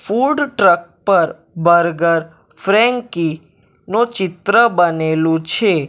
Food truck પર burger ફ્રેન્કી નું ચિત્ર બનેલું છે.